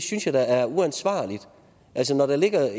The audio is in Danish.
synes jeg da er uansvarligt altså når der ligger